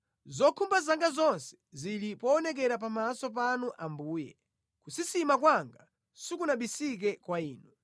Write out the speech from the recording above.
Zokhumba zanga zonse zili poonekera pamaso panu Ambuye, kusisima kwanga sikunabisike kwa Inu.